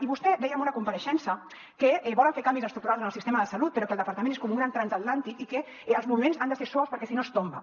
i vostè deia en una compareixença que volen fer canvis estructurals en el sistema de salut però que el departament és com un gran transatlàntic i que els moviments han de ser suaus perquè si no es tomba